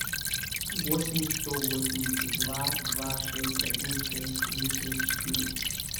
восемь сто восемьдесят два два шесть один шесть три шесть четыре